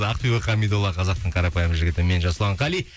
ақбибі қамидолла қазақтың қарапайым жігіті мен жасұлан қали